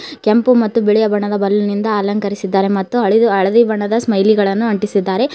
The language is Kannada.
ಕೆಂಪು ಮತ್ತು ಬಿಳಿಯ ಬಣ್ಣದ ಬಲೂನ್ ಇಂದ ಅಲಂಕರಿಸಿದ್ದಾರೆ ಮತ್ತು ಹಳಿದು ಹಳದಿ ಬಣ್ಣದ ಸ್ಮೈಲಿ ಗಳನ್ನು ಆಂಟಿಸಿದ್ದಾರೆ ಒ--